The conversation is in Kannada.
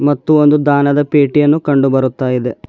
ಮತ್ತು ಒಂದು ದಾನದ ಪೇಟಿಯನ್ನು ಕಂಡು ಬರುತ್ತಾ ಇದೆ.